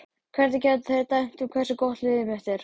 Hvernig geta þeir dæmt um hversu gott liðið mitt er?